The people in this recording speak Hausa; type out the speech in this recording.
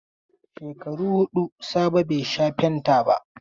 Shekaru hudu Sabo bai sha fanta ba.